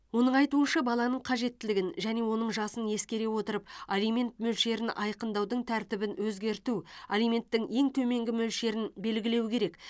оның айтуынша баланың қажеттілігін және оның жасын ескере отырып алимент мөлшерін айқындаудың тәртібін өзгерту алименттің ең төменгі мөлшерін белгілеу керек